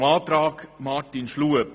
Zum Antrag von Grossrat Schlup.